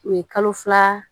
U ye kalo fila